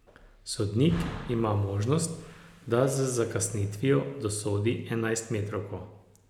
Sodnik ima možnost, da z zakasnitvijo dosodi enajstmetrovko.